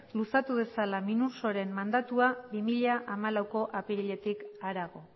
luzatu dezala minursoren mandatua bi mila hamalauko apiriletik harago